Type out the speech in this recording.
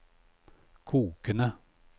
kokende